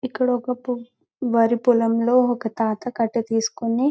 ఇక్కడ ఒక వరి పొలంలో ఒక తాత కట్ట తీసుకొని --